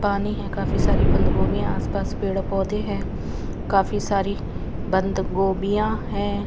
पानी है काफी सारी बंद गोबियां आसपास पेड़ पौधे हैं काफी सारी बंद गोभियां हैं।